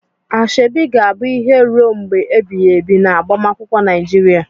Asoebi ga-abụ ihe ruo mgbe ebighị ebi na agbamakwụkwọ Nigeria.